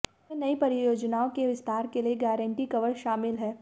इसमें नई परियोजनाओं के विस्तार के लिये गारंटी कवर शामिल हैं